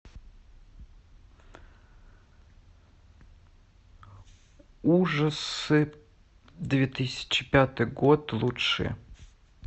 ужасы две тысячи пятый год лучшие